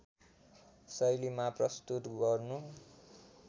शैलीमा प्रस्तुत गर्नु